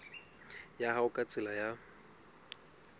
ya hao ka tsela ya